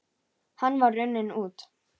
Hann var runninn út